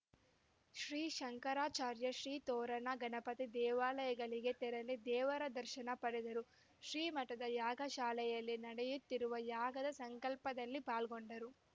ಶ್ರೀ ಶಂಕರಾಚಾರ್ಯ ಶ್ರೀ ತೋರಣ ಗಣಪತಿ ದೇವಾಲಯಗಳಿಗೆ ತೆರಳಿ ದೇವರ ದರ್ಶನ ಪಡೆದರು ಶ್ರೀ ಮಠದ ಯಾಗಶಾಲೆಯಲ್ಲಿ ನಡೆಯುತ್ತಿರುವ ಯಾಗದ ಸಂಕಲ್ಪದಲ್ಲಿ ಪಾಲ್ಗೊಂಡರು